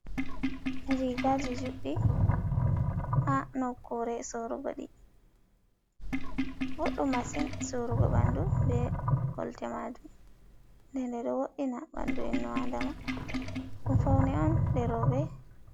Rigaji juɗɗi ha nokure sorugo ɗi ɓoɗɗum massin surugo ɓandu be kolte majum nde nɗe ɗo woɗɗina ɓandu in u adama ɗum fauni on je roɓɓe.